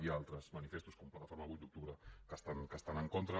hi ha altres manifestos com la plataforma vuit d’octubre que hi estan en contra